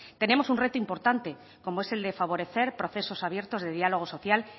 tenemos un reto importante como es el de favorecer procesos abiertos de diálogo social